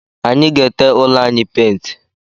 Anyi ga-ete ụlọ anyị painti